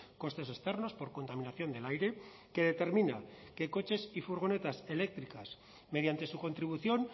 costes externos por contaminación del aire que determina que coches y furgonetas eléctricas mediante su contribución